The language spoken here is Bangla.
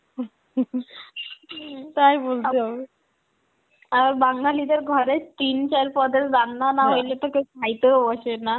হম তাই বলতে হবে, আর বাঙ্গালীদের ঘরে তিন চার পদের রান্না না হইলে তো কেউ খাইতেও বসে না.